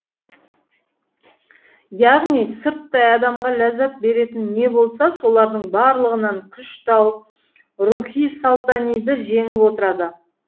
яғни сырттай адамға ләззат беретін не болса солардың барлығынан күш тауып рухи сұлтаниды жеңіп отырады